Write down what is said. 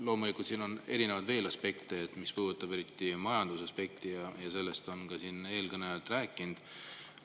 Loomulikult siin on veel erinevaid aspekte, mis puudutavad eriti majandust, ja sellest on siin eelkõnelejad ka rääkinud.